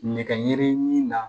Nɛgɛ ɲe na